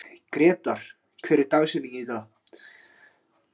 Grétar, hver er dagsetningin í dag?